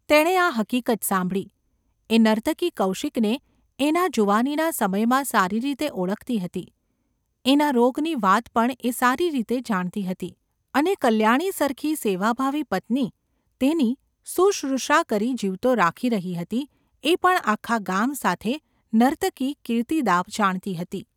તેણે આ હકીકત સાંભળી. એ નર્તકી કૌશિકને એના જુવાનીના સમયમાં સારી રીતે ઓળખતી હતી; એના રોગની વાત પણ એ સારી રીતે જાણતી હતી; અને કલ્યાણી સરખી સેવાભાવી પત્ની તેની શુશ્રુષા કરી જીવતો રાખી રહી હતી એ પણ આખા ગામ સાથે નર્તકી કીર્તિદા જાણતી હતી.